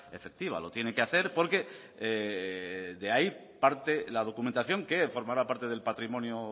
efectiva lo tiene que hacer porque de ahí parte la documentación que formará parte del patrimonio